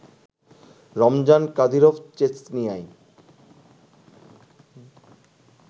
Ramzan Kadyrov চেচনিয়ায়